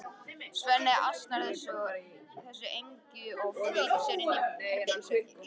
Svenni ansar þessu engu og flýtir sér inn í herbergið sitt.